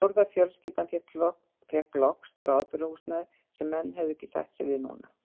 Fjórða fjölskyldan fékk loks bráðabirgðahúsnæði sem menn hefðu ekki sætt sig við núna.